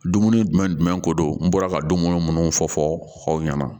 Dumuni jumɛn jumɛn ko don n bɔra ka dumuni munnu fɔ fɔ aw ɲɛna